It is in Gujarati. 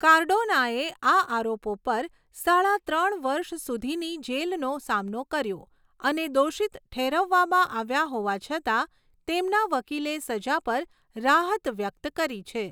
કાર્ડોનાએ આ આરોપો પર સાડા ત્રણ વર્ષ સુધીની જેલનો સામનો કર્યો અને દોષિત ઠેરવવામાં આવ્યા હોવા છતાં, તેમના વકીલે સજા પર રાહત વ્યક્ત કરી છે.